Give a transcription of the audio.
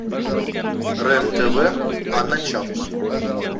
рен тв анна чапман